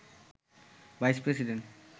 vice president